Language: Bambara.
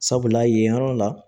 Sabula yen yɔrɔ la